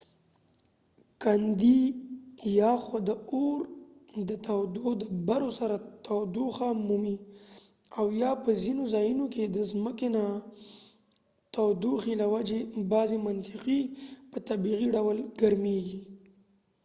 کندی یا خو د اور د تودو دبرو سره تودوخه مومی او یا په ځینو ځایونو کې د ځمکنۍ تودوخې له وجې بعضې منطقې په طبیعي ډول ګرمېږي